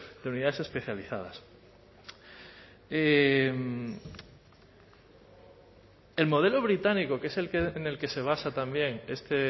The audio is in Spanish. de unidades especializadas y el modelo británico que es en el que se basa también este